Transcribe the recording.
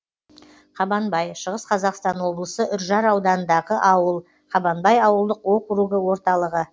қабанбай шығыс қазақстан облысы үржар ауданындағы ауыл қабанбай ауылдық округі орталығы